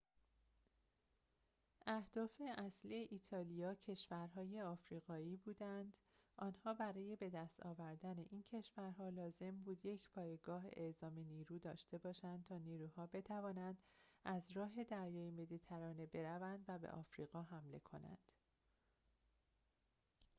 اهداف اصلی ایتالیا کشورهای آفریقایی بودند آنها برای بدست آوردن این کشورها لازم بود یک پایگاه اعزام نیرو داشته باشند تا نیروها بتوانند از راه دریای مدیترانه بروند و به آفریقا حمله کنند